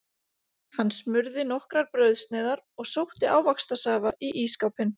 Hann smurði nokkrar brauðsneiðar og sótti ávaxtasafa í ísskápinn.